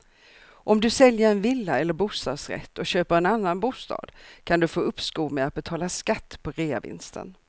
Om du säljer en villa eller bostadsrätt och köper en annan bostad kan du få uppskov med att betala skatt på reavinsten.